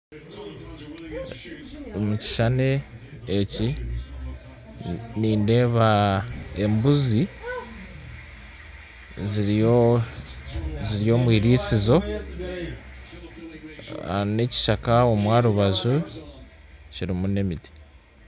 Omu kishuushani eki nindeeba embuzi ziri omwirisinzo n'ekishaaka omu rubanju kirimu n'emiti